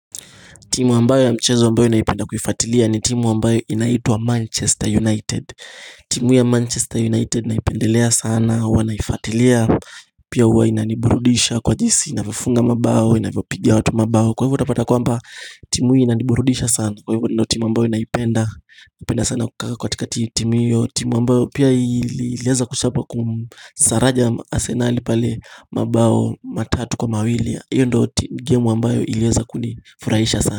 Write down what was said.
Timu ambayo ya mchezo ambayo naipenda kuifuatilia ni timu ambayo inaitwa Manchester United timu ya Manchester United naipendelea sana, huwanaifuatilia Pia huwa inaniburudisha kwa jinsi, inavyofunga mabao, inavyopiga watu mabao Kwa hivyo utapata kwamba, timu hii inaniburudisha sana Kwa hivyo ndo timu ambayo inaipenda sana kukaka katika timu hiyo timu ambayo pia iliweza kuchapa kusaraja asenali pale mabao matatu kwa mawili hiyo ndio game ambayo ilieza kuni furaisha sana.